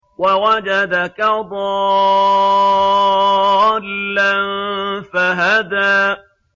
وَوَجَدَكَ ضَالًّا فَهَدَىٰ